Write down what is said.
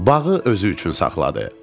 Bağı özü üçün saxladı.